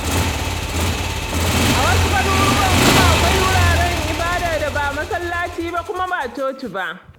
A wasu garuruwan kuma akwai wuraren ibadar da ba masallaci ba kuma ba coci ba.